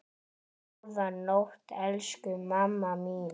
Góða nótt, elsku mamma mín.